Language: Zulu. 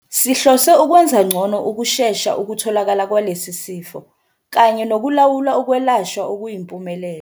"Sihlose ukwenza ngcono ukushesha ukutholakala kwalesi sifo kanye nokulawula ukwelashwa okuyimpumelelo."